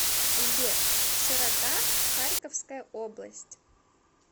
сбер широта харьковская область